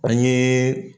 An ye